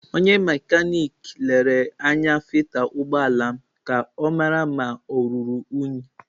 Onye mekaniki ahụ lere anya filta ụgbọ ala m ka ọ mara ma ọ ruru unyi.